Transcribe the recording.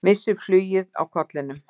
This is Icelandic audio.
Missir flugið á kollinum.